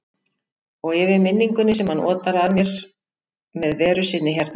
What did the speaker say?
Og yfir minningunni sem hann otar að mér með veru sinni hérna.